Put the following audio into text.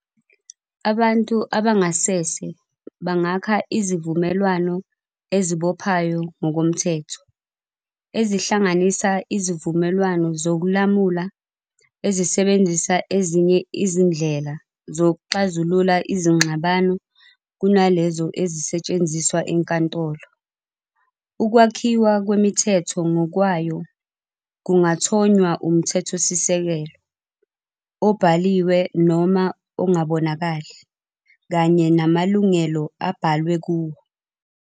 Abantu abangasese bangakha izivumelwano ezibophayo ngokomthetho, ezihlanganisa izivumelwano zokulamula ezisebenzisa ezinye izindlela zokuxazulula izingxabano kunalezo ezisetshenziswa enkantolo. Ukwakhiwa kwemithetho ngokwayo kungathonywa umthetho-sisekelo, obhaliwe noma ongabonakali, kanye namalungelo abhalwe kuwo.